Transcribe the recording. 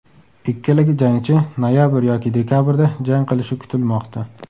Ikkala jangchi noyabr yoki dekabrda jang qilishi kutilmoqda .